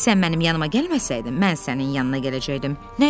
Sən mənim yanıma gəlməsəydin, mən sənin yanına gələcəkdim.